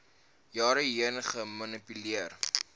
jare heen gemanipuleer